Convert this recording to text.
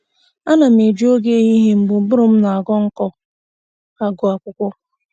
Ana m eji oge ehihie mgbe ụbụrụ m na-aghọ nkọ agụ akwụkwọ